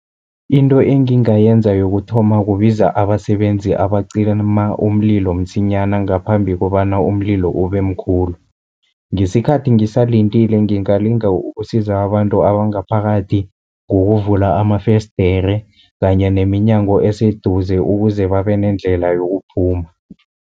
Into engingayenza yokuthoma, kubiza abasebenzi abacima umlilo msinyana ngaphambi kobana umlilo ube mkhulu. Ngesikhathi ngisalindile ngingalinga ukusiza abantu abangaphakathi, ngokuvula amafesdere kanye neminyango eseduze, ukuze babe nendlela yokuphuma.